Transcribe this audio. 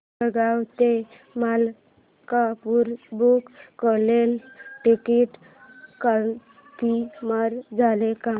जळगाव ते मलकापुर बुक केलेलं ticket confirm झालं का